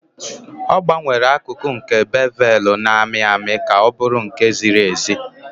Ọ gbanwere akụkụ nke bevelu na-amị amị ka ọ bụrụ nha ziri ezi.